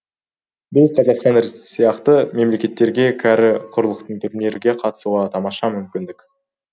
бұл қазақстан сияқты мемлекеттерге кәрі құрлықтың турниріне қатысуға тамаша мүмкіндік